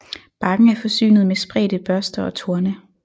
Barken er forsynet med spredte børster og torne